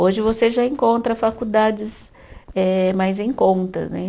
Hoje você já encontra faculdades eh mais em conta, né?